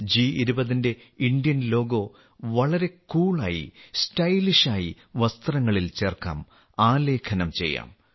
ജി20ന്റെ Indian logo വളരെ കൂളായി സ്റ്റൈലായി വസ്ത്രങ്ങളിൽ ചേർക്കാം ആലേഖനം ചെയ്യാം